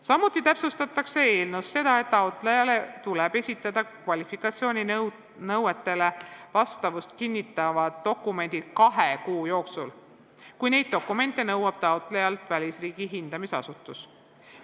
Samuti täpsustatakse eelnõus seda, et taotlejale tuleb esitada kvalifikatsiooninõuetele vastavust kinnitavad dokumendid kahe kuu jooksul, kui neid dokumente nõuab taotlejalt välisriigi hindamisasutus.